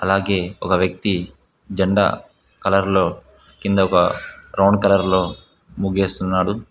అలాగే ఒక వ్యక్తి జెండా కలర్ లో కింద ఒక బ్రౌన్ కలర్ లో ముగెస్తున్నాడు.